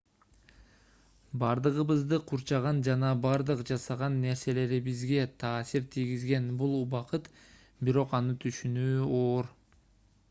бардыгыбызды курчаган жана бардык жасаган нерселерибизге таасир тийгизген бул убакыт бирок аны түшүнүү оор